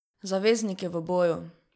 Zavezniki v boju!